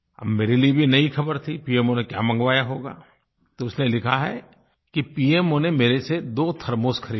अब मेरे लिए भी ये नयी ख़बर थी पीएमओ ने क्या मँगवाया होगा तो उसने लिखा है कि पीएमओ ने मेरे से दो थर्मोस ख़रीदे